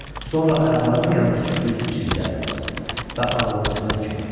Sonra ayaqlarının yanındakı güzgü çiliklərinə baxdı və ağlamısınan kimi oldu.